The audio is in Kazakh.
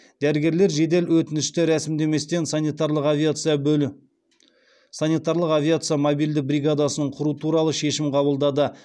дәрігерлер жедел өтінішті рәсімдеместен санитарлық авиация мобильді бригадасын құру туралы шешім қабылдады